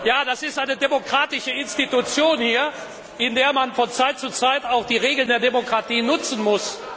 Ja, das ist eine demokratische Institution hier, in der man von Zeit zu Zeit auch die Regeln der Demokratie nutzen muss.